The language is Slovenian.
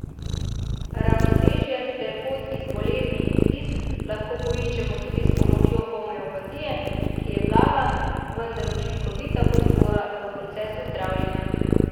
Ravnotežje ter pot iz bolezni in stisk lahko poiščemo tudi s pomočjo homeopatije, ki je blaga, vendar učinkovita podpora v procesu zdravljenja.